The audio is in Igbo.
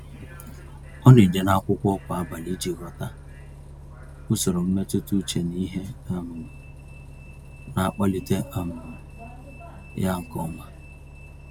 Ọ na-ede n'akwụkwọ kwa abalị iji ghọta usoro mmetụta uche na ihe um na-akpalite um ya nke ọma.